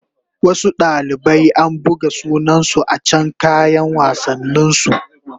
Wasu dalibai an buga sunansu a can kayan wassanin su